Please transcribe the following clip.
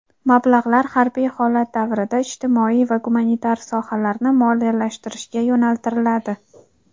Mablag‘lar harbiy holat davrida ijtimoiy va gumanitar sohalarni moliyalashtirishga yo‘naltiriladi.